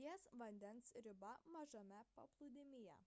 ties vandens riba mažame paplūdimyje